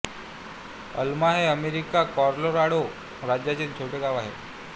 अल्मा हे अमेरिकेच्या कॉलोराडो राज्यातील छोटे गाव आहे